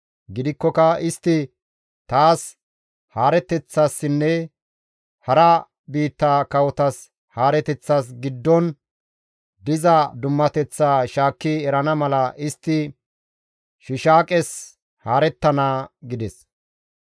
Gidikkoka istti taas haareteththassinne hara biitta kawotas haareteththas giddon diza dummateththaa shaakki erana mala istti Shiishaaqes haarettana» gides.